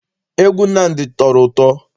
Egwu Nnamdi tọrọ ụtọ.